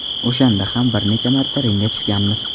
O‘shanda ham bir necha marta ringga tushganmiz.